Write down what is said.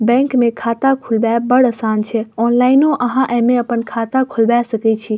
Bank में खाता खुलबेब बड़ आसान छै ऑनलाइनो अहां ए मे अपन खाता खुलवे सके छी।